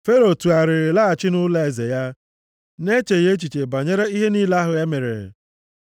Fero tụgharịrị laghachi nʼụlọeze ya, na-echeghị echiche banyere ihe niile ahụ e mere.